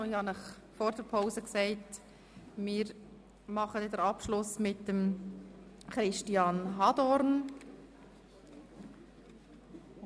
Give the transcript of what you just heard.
Ich habe Ihnen vor der Pause mitgeteilt, dass wir den Abschluss mit Christian Hadorn machen.